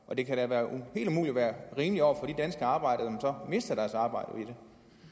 og det kan da umuligt være rimeligt over for de danske arbejdere der mister deres arbejde